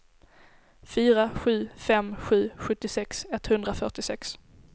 fyra sju fem sju sjuttiosex etthundrafyrtiosex